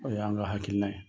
O y'a an ka hakilina ye.